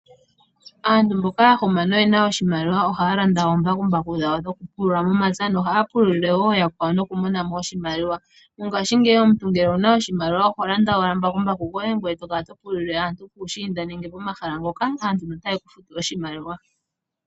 Aantu mboka ya huma noyena oshimaliwa ohaya landa oombakumbaku dhawe dhoku pulula momapya, nohaya pululile wo ooyakwawo nokumona mo oshimaliwa. Mongaashingeyi omuntu ngele owuna oshimaliwa oho landa owala mbakumbaku goye, ngoye tokala to pululile aantu puushiinda nenge pomahala ngoka aantu ota yeku futu oshimaliwa.